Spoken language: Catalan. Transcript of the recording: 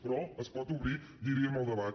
però se’n pot obrir diríem el debat